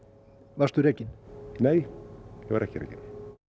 varstu rekinn nei ég var ekki rekinn